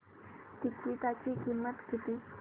तिकीटाची किंमत किती